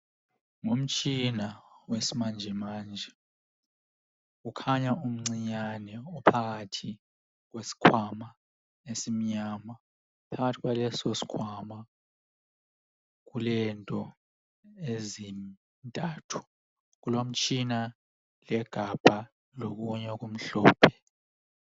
Ngumtshina wesimanje manje. Ukhanya umncinyane, uphakathi kweskwama esmnyama. Phakathi kwaleso skwama kulezinto ezintathu. Kulombala legamba lokunye okumhlophe.